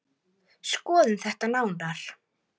Fólk ræður þessu alfarið sjálft.